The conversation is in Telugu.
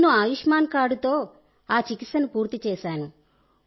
నేను ఆయుష్మాన్ కార్డ్తో ఆ చికిత్సను పూర్తి చేశాను